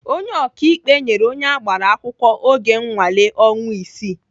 Onye ọkaikpe nyere onye agbara akwụkwọ oge nnwale ọnwa isii.